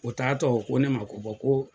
O taatɔ u ko ne ma ko ko